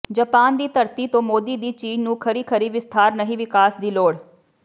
Japan ਦੀ ਧਰਤੀ ਤੋਂ ਮੋਦੀ ਦੀ ਚੀਨ ਨੂੰ ਖਰੀ ਖਰੀ ਵਿਸਥਾਰ ਨਹੀਂ ਵਿਕਾਸ ਦੀ ਲੋੜ